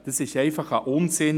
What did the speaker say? – Dies ist einfach ein Unsinn.